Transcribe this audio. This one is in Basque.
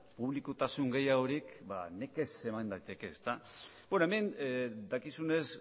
publikotasun gehiagorik nekez eman daiteke beno hemen dakizunez